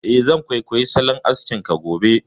Eh, zan kwaikwayi salon askin ka gobe